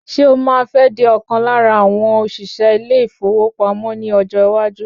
Ṣé o máa fẹ́ di ọ̀kan lára àwọn òṣìṣẹ́ ilé ìfowópamọ́ ní ọjọ́ iwájú?